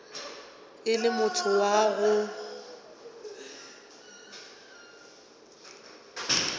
e le motho wa go